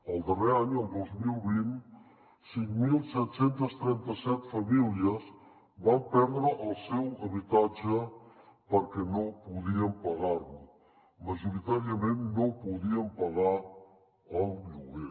el darrer any el dos mil vint cinc mil set cents i trenta set famílies van perdre el seu habitatge perquè no podien pagar lo majoritàriament no podien pagar el lloguer